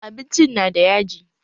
Abincin na da yaji